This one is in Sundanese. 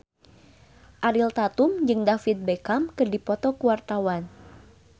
Ariel Tatum jeung David Beckham keur dipoto ku wartawan